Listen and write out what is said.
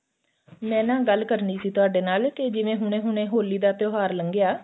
ਮੈਂ ਨਾ ਗੱਲ ਕਰਨੀ ਸੀ ਤੁਹਾਡੇ ਨਾਲ ਕਿ ਜਿਵੇਂ ਹੁਣੇ ਹੁਣੇ ਹੋਲੀ ਦਾ ਤਿਉਹਾਰ ਲੰਗਿਆ